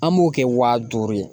An b'o kɛ waa duuru ye.